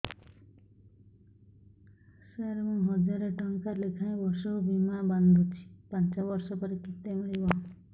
ସାର ମୁଁ ହଜାରେ ଟଂକା ଲେଖାଏଁ ବର୍ଷକୁ ବୀମା ବାଂଧୁଛି ପାଞ୍ଚ ବର୍ଷ ପରେ କେତେ ମିଳିବ